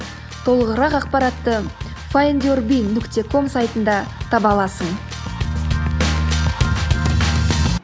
толығырақ ақпаратты файндюрби нүкте ком сайтында таба аласың